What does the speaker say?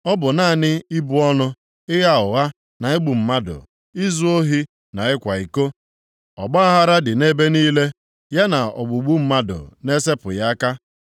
Ọ bụ naanị ịbụ ọnụ, + 4:2 Maọbụ, ịṅụ iyi ịgha ụgha na igbu mmadụ, izu ohi na ịkwa iko. Ọgbaaghara dị nʼebe niile, ya na ogbugbu mmadụ na-esepụghị aka.